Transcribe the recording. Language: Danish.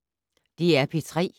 DR P3